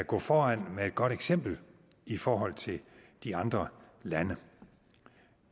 gå foran med et godt eksempel i forhold til de andre lande